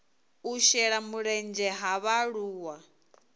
u shela mulenzhe ha vhaaluwa